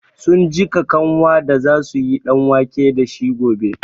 Sun jiƙa kanwan da za su yi ɗanwake da shi gobe.